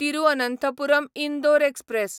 Thiruvananthapuram Indore express